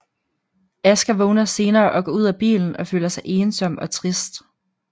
Asger vågner senere og går ud af bilen og føler sig ensom og trist